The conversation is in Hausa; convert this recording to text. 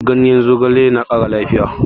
Ganyen zogale na ƙara lafiya